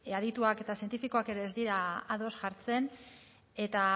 adituak eta zientifikoak ere ez dira ados jartzen eta